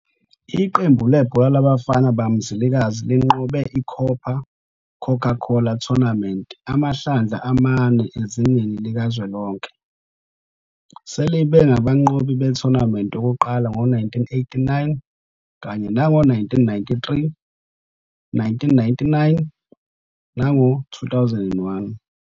Iqembu lebhola labafana bakaMzilikazi linqobe i-COPA Coca-Cola Tournament amahlandla amane ezingeni likazwelonke, selibe ngabanqobi be-Tournament yokuqala ngo-1989 kanye nango-1993, 1999, nango-2001.